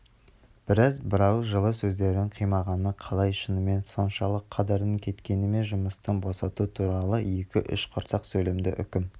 бірақ бірауыз жылы сөздерін қимағаны қалай шынымен соншалық қадырының кеткені ме жұмыстан босату туралы екі-үш құрғақ сөйлемді үкім